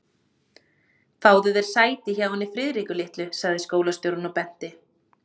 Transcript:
Fáðu þér sæti hjá henni Friðriku litlu sagði skólastjórinn og benti